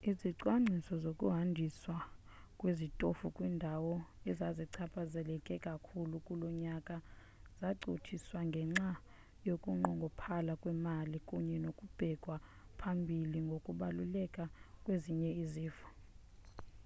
izicwangciso zokuhanjiswa kwezitofu kwiindawo ezazichaphazeleke kakhulu kulo nyaka zacothiswa ngenxa yokunqongophala kwemali kunye nokubekwa phambili ngokubaluleka kwezinye izifo